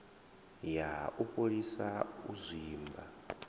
ya u fholisa u zwimba